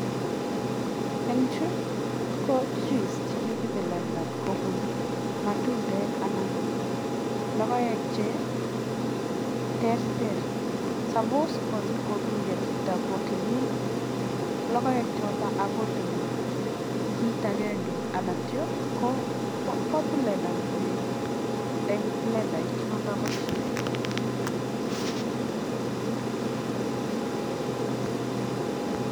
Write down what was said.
eng chuu koo (juice )chekokiplendan komnyeee koeek amitwagiik